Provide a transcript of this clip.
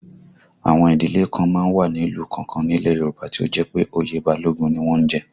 Àwọn ìdílé kan má ń wà ní ìlú kọ̀ọ̀kan nílẹ̀ Yorùbá tí ó jẹ́ pé oyè Balógun ni wọ́n ń jẹ